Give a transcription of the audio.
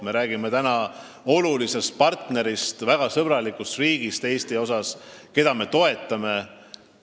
Me räägime olulisest partnerist ja Eesti suhtes väga sõbralikust riigist, keda me toetame.